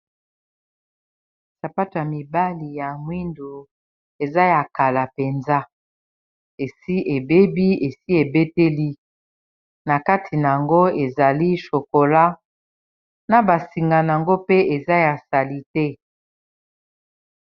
Sapato ya mibali ya mwindu eza ya kala mpenza esi ebebi esi ebeteli na kati na yango ezali chokola na basinga na yango pe eza ya sali te